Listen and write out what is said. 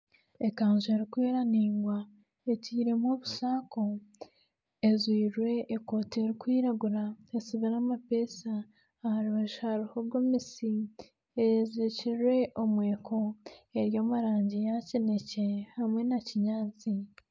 Ekanju erikwera ningwa etiiremu obusaako ejwairwe ekooti erikwiragura ekomire amapeesa aha rubaju hariho gomesi eyezirikirwe omweko eri omu rangi ya kinekye hamwe na kinyaatsi.